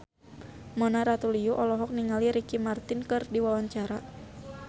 Mona Ratuliu olohok ningali Ricky Martin keur diwawancara